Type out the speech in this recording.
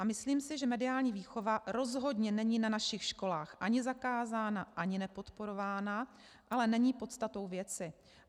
A myslím si, že mediální výchova rozhodně není na našich školách ani zakázána, ani nepodporována, ale není podstatou věci.